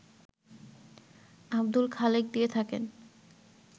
আব্দুল খালেক দিয়ে থাকেন